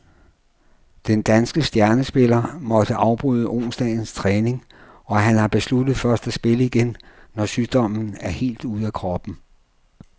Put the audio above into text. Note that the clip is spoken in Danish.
Den danske stjernespiller måtte afbryde onsdagens træning, og han har besluttet først at spille igen, når sygdommen er helt ude af kroppen.